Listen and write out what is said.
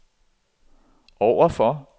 overfor